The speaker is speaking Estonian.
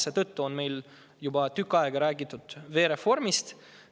Seetõttu on meil juba tükk aega räägitud veereformist.